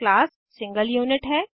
class single unit है